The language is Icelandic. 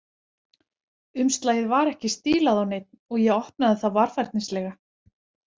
Umslagið var ekki stílað á neinn, og ég opnaði það varfærnislega.